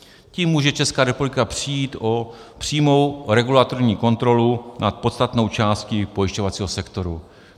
Tím může Česká republika přijít o přímou regulatorní kontrolu nad podstatnou částí pojišťovacího sektoru.